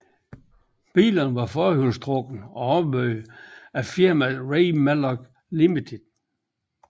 Bilerne var forhjulstrukne og opbygget af firmaet Ray Mallock Limited